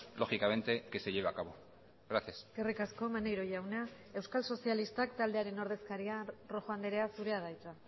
lógicamente que se lleve a cabo gracias eskerrik asko maneiro jauna euskal sozialistak taldearen ordezkaria rojo andrea zurea da hitza